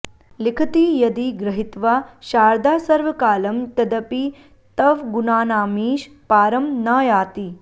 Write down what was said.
लिखति यदि गृहित्वा शारदा सर्वकालं तदपि तव गुणानामीश पारं न याति